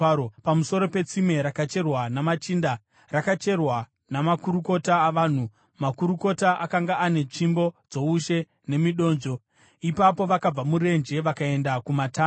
pamusoro petsime rakacherwa namachinda, rakacherwa namakurukota avanhu, makurukota akanga ane tsvimbo dzoushe nemidonzvo.” Ipapo vakabva murenje vakaenda kuMatana,